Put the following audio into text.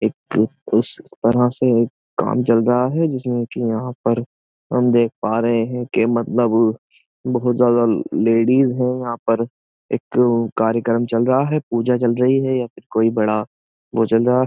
एक उस तरह से काम चल रहा है जिसमें कि यहाँ पर हम देख पा रहे हैं कि मतलब बहुत ज्यादा लेडीज है यहाँ पर एक कार्यक्रम चल रहा है पूजा चल रही है या फिर कोई बड़ा वो चल रहा है।